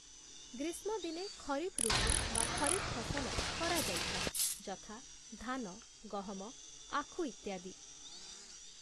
ଗ୍ରୀଷ୍ମଦିନେ ଖରିଫ୍‌ ଋତୁ ବା ଖରିଫ୍‌ ଫସଲ କରାଯାଇଥାଏ ଯଥା: ଧାନ, ଗହମ, ଆଖୁ ଇତ୍ୟାଦି ।